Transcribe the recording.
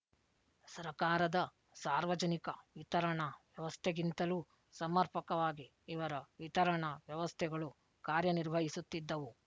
ಸರಕಾರದ ಸಾರ್ವಜನಿಕ ವಿತರಣಾ ವ್ಯವಸ್ಥೆಗಿಂತಲೂ ಸಮರ್ಪಕವಾಗಿ ಇವರ ವಿತರಣಾ ವ್ಯವಸ್ಥೆಗಳು ಕಾರ್ಯನಿರ್ವಹಿಸುತ್ತಿದ್ದವು